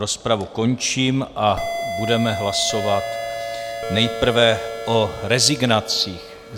Rozpravu končím a budeme hlasovat nejprve o rezignacích.